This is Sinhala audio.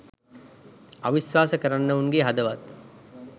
අවිස්වාශ කරන්නවුන්ගේ හදවත්